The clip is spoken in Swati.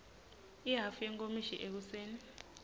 ihhafu yenkomishi ekuseni